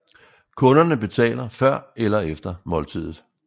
Kunderne betaler før eller efter måltidet